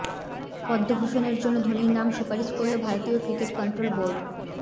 পদ্মভূষণের জন্য ধোনির নাম সুপারিশ করল ভারতীয় ক্রিকেট কন্ট্রোল বোর্ড